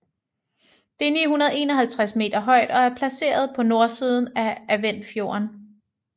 Det er 951 meter højt og er placeret på nordsiden af Adventfjorden